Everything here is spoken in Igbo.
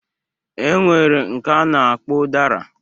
Enwere nke a na-akpọ ụdara